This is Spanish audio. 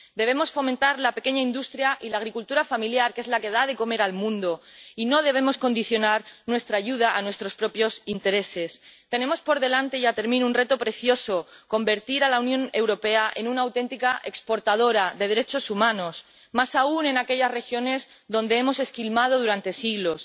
Debemos fomentar la pequeña industria y la agricultura familiar, que es la que da de comer al mundo, y no debemos condicionar nuestra ayuda a nuestros propios intereses. Tenemos por delante —y ya termino— un reto precioso convertir a la Unión Europea en una auténtica exportadora de derechos humanos, más aún en aquellas regiones donde hemos esquilmado durante siglos.